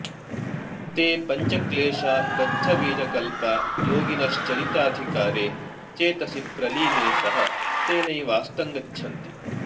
ते पञ्चक्लेशा दग्धबीजकल्पा योगिनश्चरिताधिकारे चेतसि प्रलीने सह तेनैवास्तं गच्छन्ति